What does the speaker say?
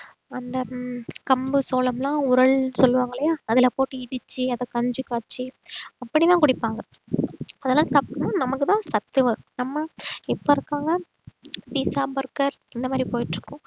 அந்த ஆஹ் கம்பு, சோளம் எல்லாம் உரல் சொல்லுவாங்க இல்லையா அதில போட்டு இடிச்சு அதை கஞ்சி காய்ச்சு அப்படித்தான் குடிப்பாங்க அதெல்லாம் சாப்பிட்டோன்னா நமக்குத்தான் சத்து வரும் நம்ம இப்ப இருக்கறவங்க pizza burger இந்த மாதிரி போயிட்டு இருக்கோம்